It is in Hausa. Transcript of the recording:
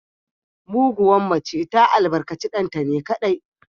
Muguwar mace ta albarkaci ɗanta ne kaɗai